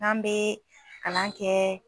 N'an bɛ kalan kɛ